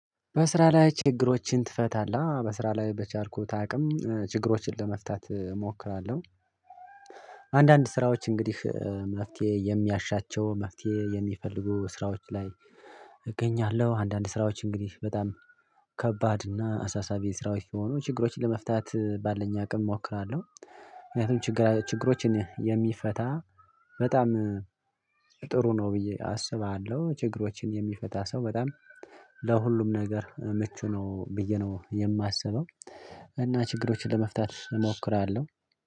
በስራ ላይ ችግሮችን ትፈታለህ? በስራ ላይ በቻልኩት አቅም ችግሮችን ለመፍታት እሞክራለሁ ስራዎች እንግዲህ መፍትሄ የሚያሻቸው መፍትሄ የሚፈልጉ ስራዎች ላይ እገኛለሁ አንዳንድ ስራዎች እንግዲህ በጣም ከባድ እና አሳሳቢ ስራዎች ሆኖ ችግሮችን ለመፍታት ባለን አቅም እሞክራለሁ ምክንያቱም ችግራችን ችግሮችን የሚፈታ በጣም ጥሩ ነው ብዬ አስባለሁ ችግሮችን የሚፈታ ሰው በጣም ለሁሉም ነገር ምቹ ነው ብዬ ነው የማስበው እና ችግሮችን ለመፍታት እሞክራለሁ